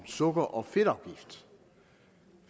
så går